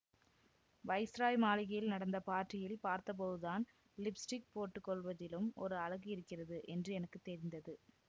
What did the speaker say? viceroy மாளிகையில் நடந்த பார்ட்டியில் பார்த்தபோதுதான் லிப் ஸ்டிக் போட்டு கொள்வதிலும் ஒரு அழகு இருக்கிறது என்று எனக்கு தெரிந்தது